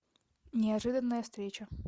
неожиданная встреча